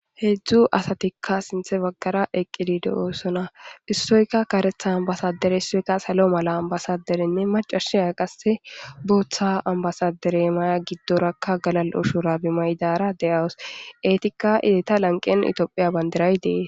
Hezhu asayika sintha bagara eqidi de'osona issoyka karetha ambasadere issoyka salo mala ambasaderenneacasiya qase bootha ambasadere maya gidoraka galal'o shubare mayidara de'aws etika eta lanqen tophiya bandiray de'es.